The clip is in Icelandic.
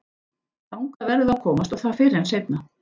Þangað verðum við að komast og það fyrr en seinna.